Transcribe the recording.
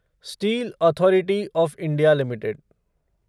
steel authority of India limited